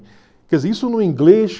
Quer dizer, isso no inglês...